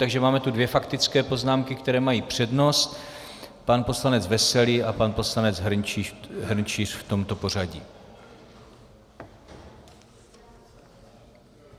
Takže tu máme dvě faktické poznámky, které mají přednost, pan poslanec Veselý a pan poslanec Hrnčíř, v tomto pořadí.